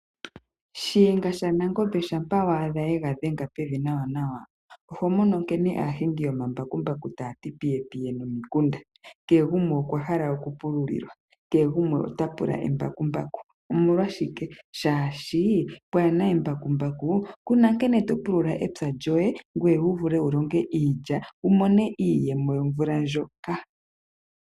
Shiyenga shanangombe shampa wa adha yega dhenga pevi nawa nawa. Oho mono nkene aahingi yomambakumbaku taya ti piye piye nomikunda. Kehe gumwe okwa hala okupululilwa, kehe gumwe otapula embakumbaku. Omolwashike? Shaashi, pwaana embakumbaku kuna nkene to pulula epya lyoye, ngoye wu vule wulonge iilya wumone iiyemo yomvula ndjoka.